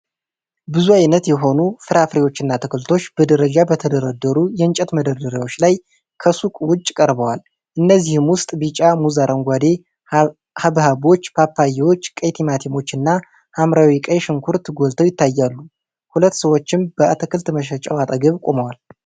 ብዙ ዓይነት የሆኑ ፍራፍሬዎችና አትክልቶች በደረጃ በተደረደሩ የእንጨት መደርደሪያዎች ላይ ከሱቅ ውጭ ቀርበዋል። ከእነዚህም ውስጥ ቢጫ ሙዝ፣ አረንጓዴ ሐብሐቦች፣ ፓፓዬዎች፣ ቀይ ቲማቲሞች እና ሐምራዊ ቀይ ሽንኩርት ጎልተው ይታያሉ፤ ሁለት ሰዎችም በአትክልት መሸጫው አጠገብ ቆመዋል።